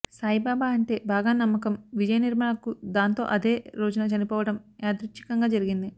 సాయిబాబా అంటే బాగా నమ్మకం విజయనిర్మల కు దాంతో అదే రోజున చనిపోవడం యాదృచ్ఛికం గా జరిగింది